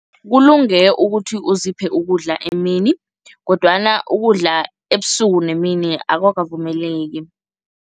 Kulunge ukuthi uziphe ukudla emini kodwana ukudla ebusuku nemini akukavumeleki.